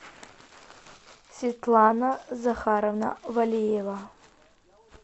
светлана захаровна валеева